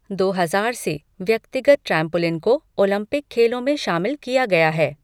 दो हजार से, व्यक्तिगत ट्रैम्पोलिन को ओलंपिक खेलों में शामिल किया गया है।